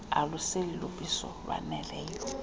aluseli lubisi lwaneleyo